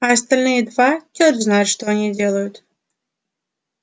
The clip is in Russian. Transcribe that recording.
а остальные два чёрт знает что они делают